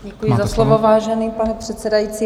Děkuji za slovo, vážený pane předsedající.